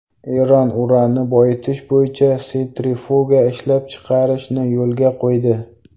Eron uranni boyitish bo‘yicha sentrifuga ishlab chiqarishni yo‘lga qo‘ydi.